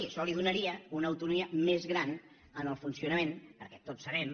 això li donaria una autonomia més gran en el funcionament perquè tots sabem